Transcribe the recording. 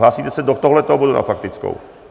Hlásíte se do tohoto bodu na faktickou?